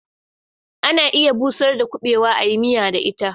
Ana iya busar da kuɓewa a yi miya da ita